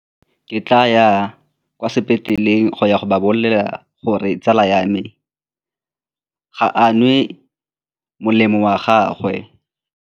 Ke tla ya kwa sepetleleng go ya go ba bolelela gore tsala ya me ga a nwe molemo wa gagwe.